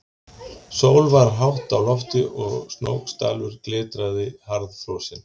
Sól var hátt á lofti og Snóksdalur glitraði harðfrosinn.